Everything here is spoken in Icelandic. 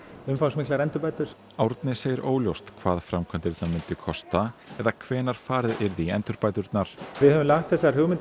umfangsmiklar endurbætur Árni segir óljóst hvað framkvæmdirnar myndu kosta eða hvenær farið yrði í endurbæturnar við höfum lagt þessar hugmyndir